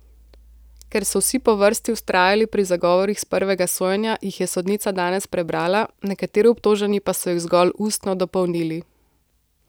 Ker so vsi po vrsti vztrajali pri zagovorih s prvega sojenja, jih je sodnica danes prebrala, nekateri obtoženi pa so jih zgolj ustno dopolnili.